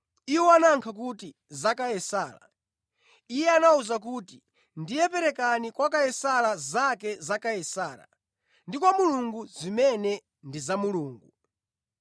Iwo anayankha kuti, “Za Kaisara.” Iye anawawuza kuti, “Ndiye perekani kwa Kaisara zake za Kaisara ndi kwa Mulungu zimene ndi za Mulungu.”